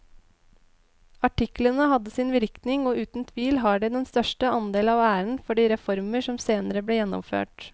Artiklene hadde sin virkning og uten tvil har de den største andel av æren for de reformer som senere ble gjennomført.